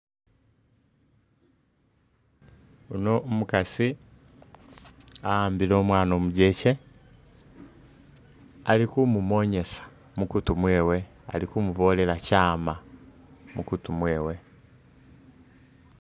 Uno umukaasi aambile umwana umujeche ali khumumonyesa mukuutu mwewe ali khumubolela kyaama mukutu mwewe.